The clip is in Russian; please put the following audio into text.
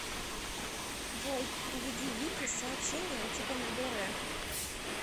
джой переведи вике с сообщением типа на др